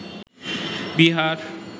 Bihar